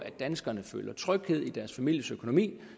at danskerne føler tryghed om deres families økonomi